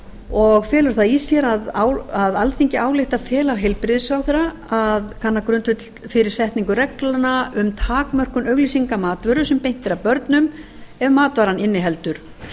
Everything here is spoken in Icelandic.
og felur það í sér að alþingi ályktar að fela heilbrigðisráðherra að kanna grundvöll fyrir setningu reglna um takmörkun auglýsinga matvöru sem beint er að börnum ef matvaran inniheldur